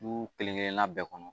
Du kelen kelen na bɛɛ kɔnɔ